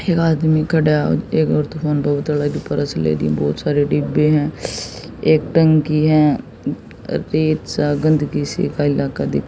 एक आदमी खडा बहुत सारे डिबे हैं एक टंकी है रेत सा गंदगी सी का इलाका दिख--